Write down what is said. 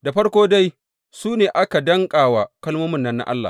Da farko dai, su ne aka danƙa wa kalmomin nan na Allah.